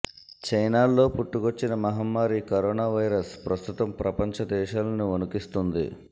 చైనాల్లో పుట్టుకొచ్చిన మహమ్మారి కరోనా వైరస్ ప్రస్తుతం ప్రపంచ దేశాలని వణికిస్తోంది